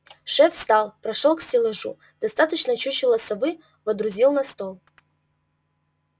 шеф встал прошёл к стеллажу достал чучело совы водрузил на стол